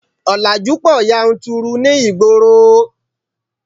Ọ̀làjú pọ̀ yanturu ní ìgboro